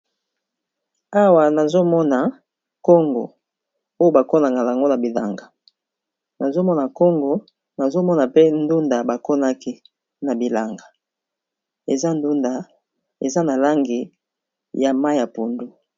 awa nazomona nkongo oyo bakonaka lango na bilanga nazomona nkongo nazomona pe ndunda bakonaki na bilanga eza na langi ya mai ya pundu